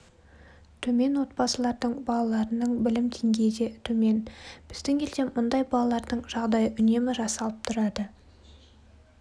төмен отбасылардың балаларының білім деңгейі де төмен біздің елде бұндай балалардың жағдайы үнемі жасалып тұрады